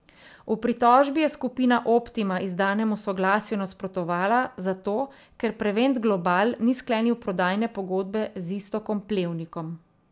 V pritožbi je Skupina Optima izdanemu soglasju nasprotovala zato, ker Prevent Global ni sklenil prodajne pogodbe z Iztokom Plevnikom.